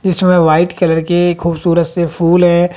इसमें white colour के खूबसूरत से फूल है।